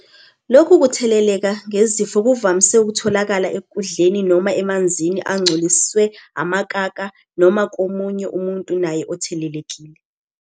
Lokhu kutheleleka ngezifo kuvamise ukutholakala ekudleni noma emanzini angcoliswe amakaka, noma komunye umuntu naye othelelekile.